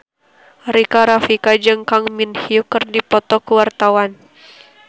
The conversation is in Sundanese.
Rika Rafika jeung Kang Min Hyuk keur dipoto ku wartawan